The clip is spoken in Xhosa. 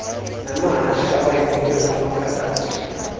namahashe awayeqhutwya ngamaphakathi